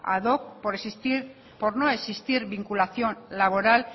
ad hoc por no existir vinculación laboral